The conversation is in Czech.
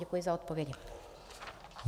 Děkuji za odpovědi.